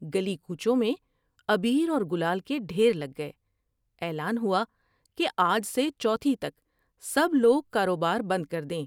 گلی کوچوں میں عبیر اور گلال کے ڈھیر لگ گئے ۔اعلان ہوا کہ آج سے چوتھی تک سب لوگ کاروبار بند کر دیں ۔